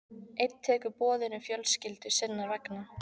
Einn tekur boðinu fjölskyldu sinnar vegna.